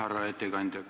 Härra ettekandja!